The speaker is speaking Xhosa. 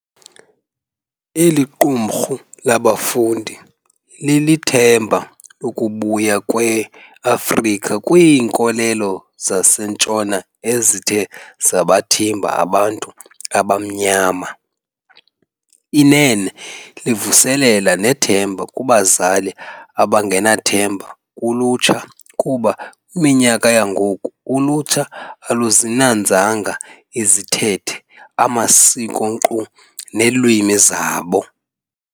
Eliqumrhu labafundi lilithemba lokubuya kwe Afrika kwiinkolelo zaseNtshona ezithe zabathimba abantu abamnyama. Inene livuselela nethemba kubazali abangenathemba kulutsha kuba kwiminyaka yangoku ulutsha aluzinanzanga izithethe amasiko nkqu neelwimi zabo.